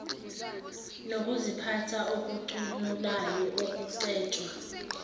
nokuziphatha okucunulayo okucetshwa